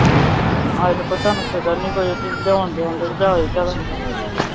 ਹਜੇ ਤਾਂ ਤੁਹਾਨੂੰ ਕੋਈ ਫਿਕਰ ਨਹੀਂ ਲਿਆਉਣ ਦੇਣ ਦੀ